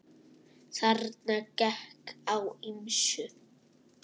Þarna gekk á ýmsu.